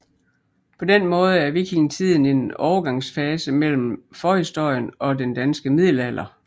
På den måde er vikingetiden en overgangsfase mellem forhistorien og den danske middelalder